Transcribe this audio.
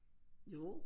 Jo